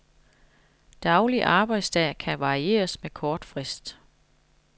Daglig arbejdsdag kan varieres med kort frist.